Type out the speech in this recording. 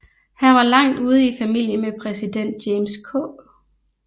Han var langt ude i familie med præsident James K